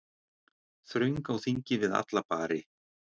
Þröng á þingi við alla bari.